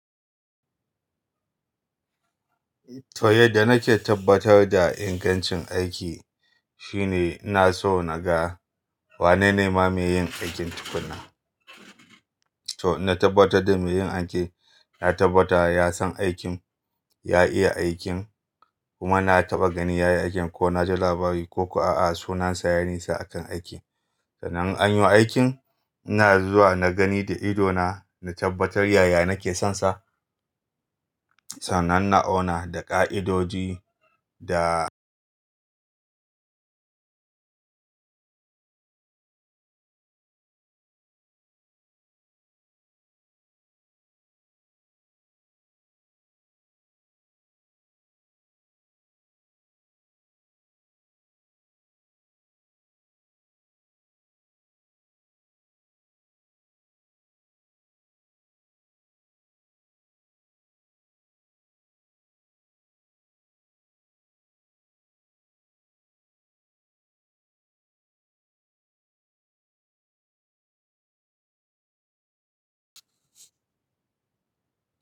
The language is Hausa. To, yadda nake tabbatar da ingancin aiki shine ina so na ga wane ne ma mai yin aikin tukuna. To, inna tabbatar da mai yin aikin, na tabbatar ya san aikin, ya iya aikin kuma na taba gani yayi aikin ko na ji labari ko ko a a sunansa yayi nisa a kan aikin. Sannan in an yo aikin, ina zuwa na gani da idona, na tabbatar yaya nake sonsa. Sannan na auna da ƙa'idoji da.